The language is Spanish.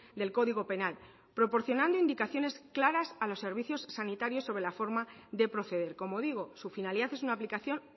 del código penal proporcionando indicaciones claras a los servicios sanitarios sobre la forma de proceder como digo su finalidad es una aplicación